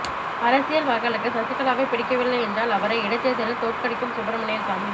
அரசியல் மக்களுக்கு சசிகலாவை பிடிக்கவில்லை என்றால் அவரை இடைத்தேர்தலில் தோற்கடிக்கட்டும் சுப்பிரமணியன் சாமி